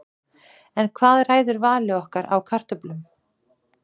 En hvað ræður vali okkar á kartöflum?